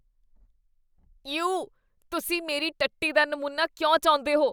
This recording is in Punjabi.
ਯੂ। ਤੁਸੀਂ ਮੇਰੇ ਟੱਟੀ ਦਾ ਨਮੂਨਾ ਕਿਉਂ ਚਾਹੁੰਦੇ ਹੋ?